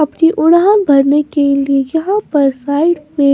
अपनी उरान भरने के लिए यहाँ पर साइड पे --